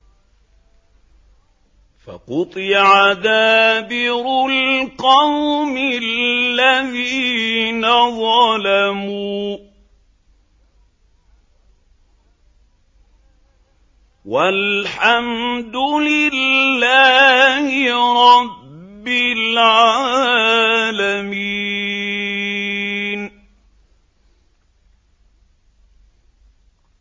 فَقُطِعَ دَابِرُ الْقَوْمِ الَّذِينَ ظَلَمُوا ۚ وَالْحَمْدُ لِلَّهِ رَبِّ الْعَالَمِينَ